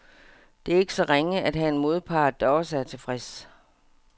Det er ikke så ringe at have en modpart, der også er tilfreds.